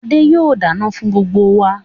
Adé yìí ó dáná fún gbogbo wá